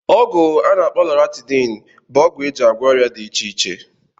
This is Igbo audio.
ọgwụ ana akpo Loratadine bụ ọgwụ eji agwọ ọrịa dị iche iche.